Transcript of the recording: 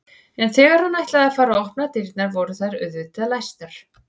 En þegar hann ætlaði að fara að opna dyrnar voru þær auðvitað læstar.